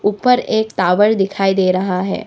ऊपर एक टावर दिखाई दे रहा है।